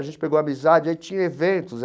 A gente pegou amizade, aí tinha eventos.